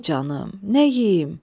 Ay canım, nə yeyim?